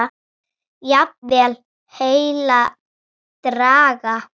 Jafnvel heilan bragga.